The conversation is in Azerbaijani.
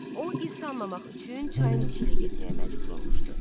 O iz salmamaq üçün çayın içi ilə getməyə məcbur olmuşdu.